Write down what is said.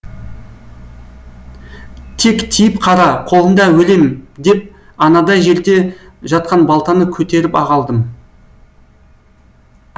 тек тиіп қара қолында өлем деп анадай жерде жатқан балтаны көтеріп ақ алдым